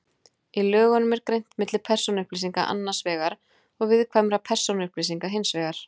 í lögunum er greint milli persónuupplýsinga annars vegar og viðkvæmra persónuupplýsinga hins vegar